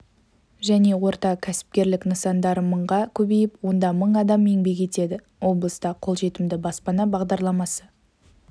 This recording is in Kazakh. және орта кәсіпкерлік нысандары мыңға көбейіп онда мың адам еңбек етеді облыста қолжетімді баспана бағдарламасы